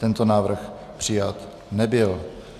Tento návrh přijat nebyl.